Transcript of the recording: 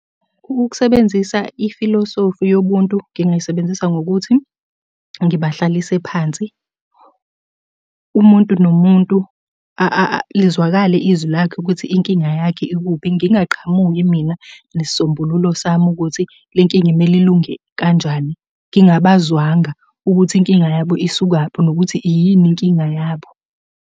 Ukusebenzisa ifilosofi yobuntu ngingayisebenzisa ngokuthi ngibahlalise phansi. Umuntu nomuntu lizwakale izwi lakhe ukuthi inkinga yakhe ikuphi. Ngingaqhamuki mina nesisombululo sami ukuthi le nkinga kumele ilunge kanjani ngingabazwanga ukuthi inkinga yabo isukaphi nokuthi yini inkinga yabo.